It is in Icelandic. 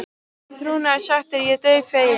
Í trúnaði sagt er ég dauðfeginn.